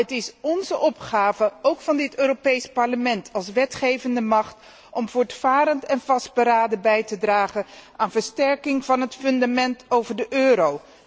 Het is onze opgave, ook van dit Europees Parlement als wetgevende macht, om voortvarend en vastberaden bij te dragen aan versterking van het fundament van de euro.